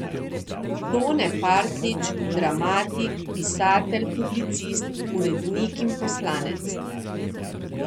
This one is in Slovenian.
Tone Partljič, dramatik, pisatelj, publicist, urednik in poslanec.